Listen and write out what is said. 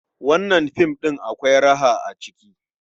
Wannan film ɗin akwai raha a ciki.